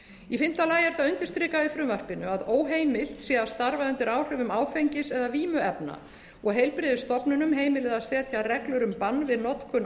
í fimmta lagi er það undirstrikað í frumvarpinu að óheimilt sé að starfa undir áhrifum áfengis eða vímuefna og heilbrigðisstofnunum heimilað að setja reglur um bann við notkun